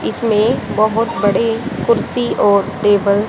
इसमें बहुत बड़े कुर्सी और टेबल --